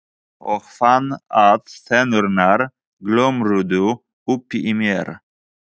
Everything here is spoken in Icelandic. Og fann að tennurnar glömruðu uppi í mér.